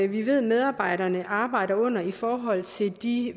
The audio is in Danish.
vi ved medarbejderne arbejder under i forhold til de